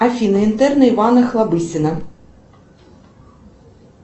афина интерны иван охлобыстин